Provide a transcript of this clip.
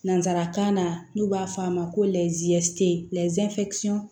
Nanzarakan na n'u b'a fɔ a ma ko